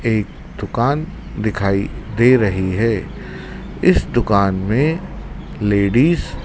एक दुकान दिखाई दे रहीं हैं इस दुकान में लेडिज --